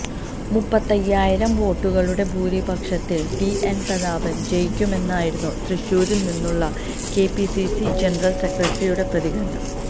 മുപ്പത്തയ്യായിരം വോട്ടുകളുടെ ഭൂരിപക്ഷത്തില് ടി എന് പ്രതാപന് ജയിക്കുമെന്നായിരുന്നു തൃശ്ശൂരില്നിന്നുള്ള കെപിസിസി ജനറല് സെക്രട്ടറിയുടെ പ്രതികരണം